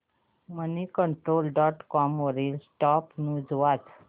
Moneycontrol dot com वरील top news वाच